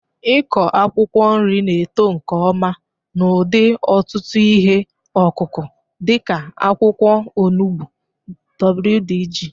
Ịkọ akwụkwọ nri na-eto nke ọma n'ụdị ọtụtụ ihe ọkụkụ dị ka akwụkwọ onugbu wdg.